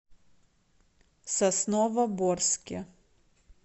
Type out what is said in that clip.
сосновоборске